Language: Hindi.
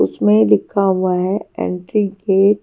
इसमें लिखा हुआ हैं एंट्री गेट --